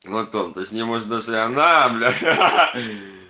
антон ты с ним может даже и на аа бля ахаха